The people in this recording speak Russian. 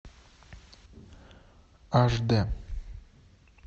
аш д